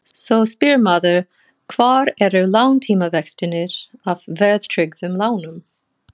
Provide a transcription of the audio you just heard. Svo spyr maður hvar eru langtímavextirnir af verðtryggðum lánum?